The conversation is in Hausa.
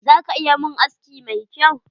Za ka iya mun aski mi kyau?